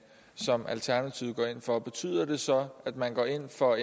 som alternativet går ind for betyder det så at man går ind for